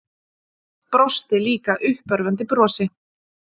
Brosti líka uppörvandi brosi.